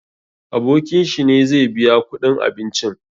Abokin shi ne zai biya kuɗin abincin.